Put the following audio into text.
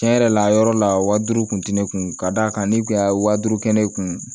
Tiɲɛ yɛrɛ la a yɔrɔ la wa duuru tun tɛ ne kun ka d'a kan ne tun y'a wa duuru kɛ ne kun